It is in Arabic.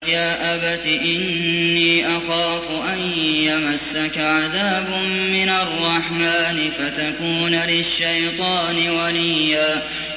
يَا أَبَتِ إِنِّي أَخَافُ أَن يَمَسَّكَ عَذَابٌ مِّنَ الرَّحْمَٰنِ فَتَكُونَ لِلشَّيْطَانِ وَلِيًّا